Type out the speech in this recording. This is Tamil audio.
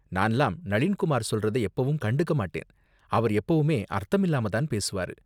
நான்லாம் நளீன் குமார் சொல்றத எப்பவும் கண்டுக்க மாட்டேன், அவர் எப்பவுமே அர்த்தமில்லாம தான் பேசுவாரு.